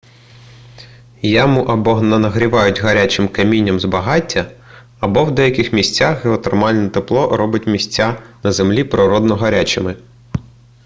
яму або нагрівають гарячим камінням з багаття або в деяких місцях геотермальне тепло робить місця на землі природно гарячими